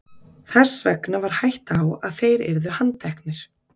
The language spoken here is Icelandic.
þess vegna væri hætta á að þeir yrðu handteknir